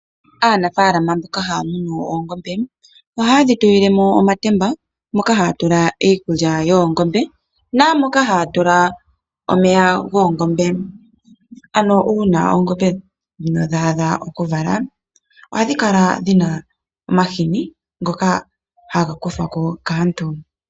Aanafalama mboka haya munu oongombe, ohaye dhitulile mo omatemba moka haya tula iikulya nomeya goongombe. Uuna oongombe ndhika dha adha okuvula ohadhikala dhuna omahini ngoka haga kandwa kaantu.